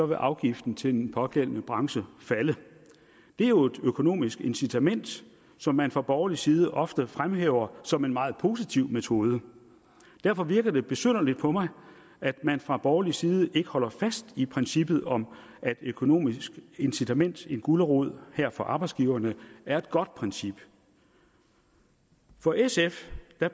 vil afgiften til den pågældende branche falde det er jo et økonomisk incitament som man fra borgerlig side ofte fremhæver som en meget positiv metode og derfor virker det besynderligt på mig at man fra borgerlig side ikke holder fast i princippet om at et økonomisk incitament en gulerod her for arbejdsgiverne er et godt princip for sf